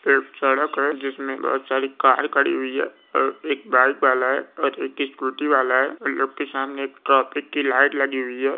एक सड़क है जिसमें बहुत सारी कार खड़ी हुई है एक बाइक वाला है और एक स्कूटी वाला है लोग के सामने एक ट्रैफिक की लाइट लगी हुई है।